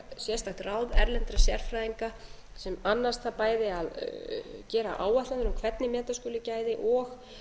ráð erlendra sérfræðinga sem annast það bæði að gera áætlanir um hvernig meta skuli gæði og